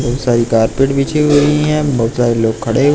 बहोत सारी कार्पेट बिछी हुई हैं बहोत सारे लोग खड़े-- -